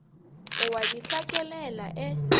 o a di hlakelela e